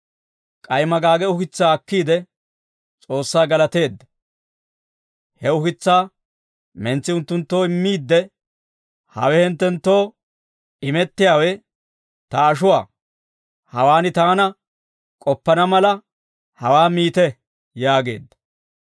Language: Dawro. K'ay magaage ukitsaa akkiide, S'oossaa galateedda; he ukitsaa mentsi unttunttoo immiidde, «Hawe hinttenttoo imettiyaawe ta ashuwaa; hawaan taana k'oppana mala hawaa miite» yaageedda.